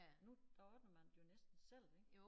Nu der ordner man det jo næsten selv ik